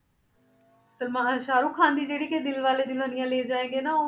ਸਲਮਾਨ ਸਾਹਰੁਖਾਨ ਦੀ ਜਿਹੜੀ ਕਿ ਦਿਲ ਵਾਲੇ ਦੁਲਹਨੀਆ ਲੈ ਜਾਏਂਗੇ ਨਾ